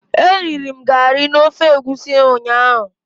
Eriri m garị na ofe egwusi ụnyahụ.